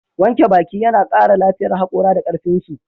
Wanke baki yana kara lafiyar hakora da karfinsu.